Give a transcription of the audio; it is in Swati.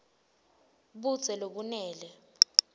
budze lobenele